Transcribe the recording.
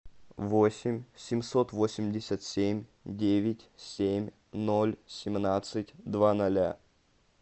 восемь семьсот восемьдесят семь девять семь ноль семнадцать два ноля